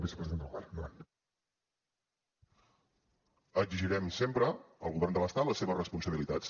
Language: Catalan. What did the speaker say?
exigirem sempre al govern de l’estat les seves responsabilitats